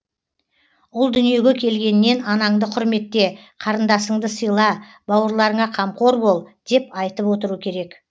ұл дүниеге келгеннен анаңды құрметте қарындасыңды сыйла бауырларыңа қамқор бол деп айтып отыру керек